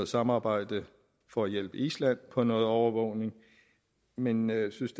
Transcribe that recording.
samarbejde for at hjælpe island med noget overvågning men jeg synes